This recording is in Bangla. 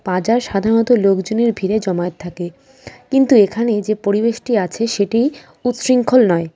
বাজার সাধারণত লোকজনের ভিড়ে জমায়েত থাকে কিন্তু এখানে যে পরিবেশটি আছে সেটি উৎশৃঙ্খল নয় .